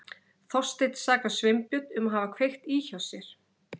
Þorsteinn sakar Sveinbjörn um að hafa kveikt í hjá sér.